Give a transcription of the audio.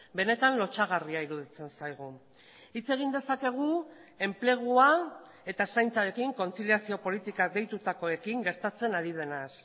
benetan lotsagarria iruditzen zaigu hitz egin dezakegu enplegua eta zaintzarekin kontziliazio politika deitutakoekin gertatzen ari denaz